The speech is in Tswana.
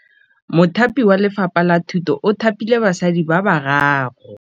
Mothapi wa Lefapha la Thutô o thapile basadi ba ba raro.